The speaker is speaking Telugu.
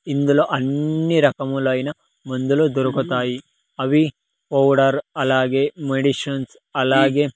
ఇందులో అన్ని రకములైన మందులు దొరుకుతాయి అవి పౌడర్ అలాగే మెడిసన్స్ అలాగే.